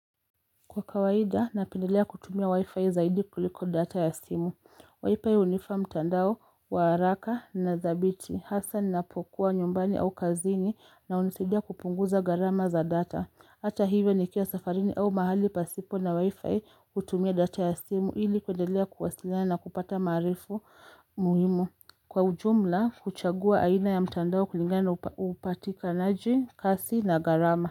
Kwa kawaida, napendelea kutumia wi-fi zaidi kuliko data ya simu wifi hunifa mtandao wa haraka na thabiti Hasa ni napokuwa nyumbani au kazini na unisidia kupunguza gharama za data Hata hivyo nikiwa safarini au mahali pasipo na wi-fi kutumia data ya simu Hili kuendelea kuwasilina na kupata maarifu muhimu Kwa ujumla, kuchagua aina ya mtandao kulingana na upatika naji, kasi na gharama.